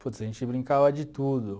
Putz, a gente brincava de tudo